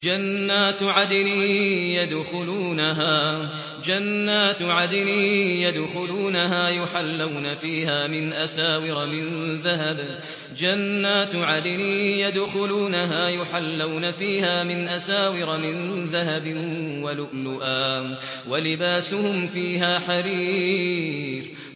جَنَّاتُ عَدْنٍ يَدْخُلُونَهَا يُحَلَّوْنَ فِيهَا مِنْ أَسَاوِرَ مِن ذَهَبٍ وَلُؤْلُؤًا ۖ وَلِبَاسُهُمْ فِيهَا حَرِيرٌ